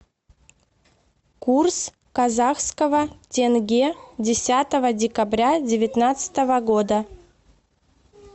курс казахского тенге десятого декабря девятнадцатого года